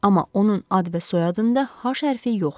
Amma onun ad və soyadında H hərfi yoxdur.